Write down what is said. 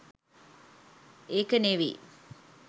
එකෙ නේවි